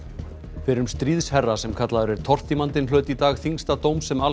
fyrrum stríðsherra sem kallaður er tortímandinn hlaut í dag þyngsta dóm sem